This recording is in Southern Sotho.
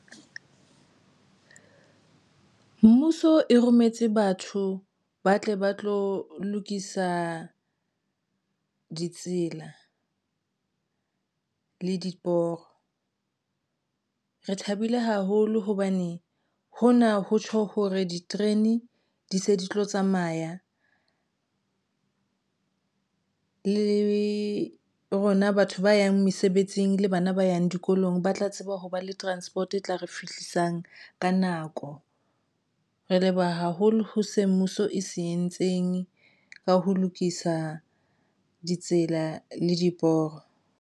Mmuso e rometse batho ba tle ba tlo lokisa ditsela le diporo. Re thabile haholo hobane hona ho tjho hore diterene di se di tlo tsamaya le rona batho ba yang mesebetsing le bana ba yang dikolong ba tla tseba ho ba le transport e tla re fihlisang ka nako, re leboha haholo ho se mmuso e se entseng ka ho lokisa ditsela le diporo.